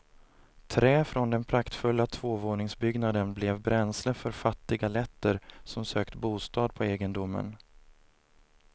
Trä från den praktfulla tvåvåningsbyggnaden blev bränsle för fattiga letter som sökt bostad på egendomen.